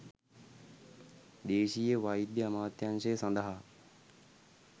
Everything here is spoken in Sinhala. දේශීය වෛද්‍ය අමාත්‍යාංශය සඳහා